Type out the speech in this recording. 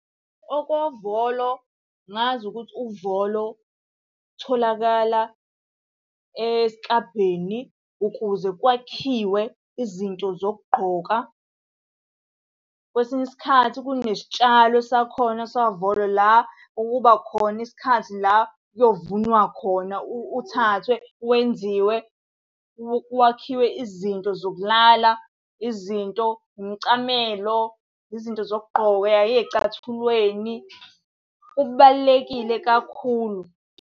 Okovolo, ngazi ukuthi uvolo utholakala esiklabhini ukuze kwakhiwe izinto zokugqoka. Kwesinye isikhathi kunesitshalo sakhona sikavolo la, ukuba khona isikhathi la kuyovunwa khona uthathwe wenziwe, wakhiwe izinto zokulala izinto, umcamelo, izinto zokugqoka uya ey'cathulweni. Kubalulekile kakhulu.